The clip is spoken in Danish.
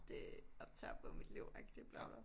Det optager bare mit liv agtig bla bla bla